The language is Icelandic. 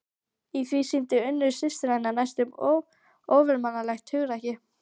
Í því sýndi Unnur systir hennar næstum ofurmannlegt hugrekki.